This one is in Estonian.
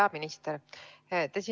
Hea minister!